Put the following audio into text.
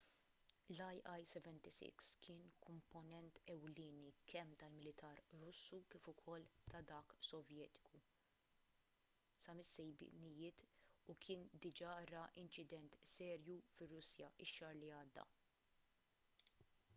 l-il-76 kien komponent ewlieni kemm tal-militar russu kif ukoll ta’ dak sovjetiku sa mis-sebgħinijiet u kien diġà ra inċident serju fir-russja x-xahar li għadda